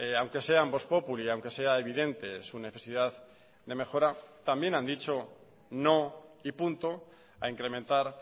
aunque sean vox populi aunque sea evidente su necesidad de mejora también han dicho no y punto a incrementar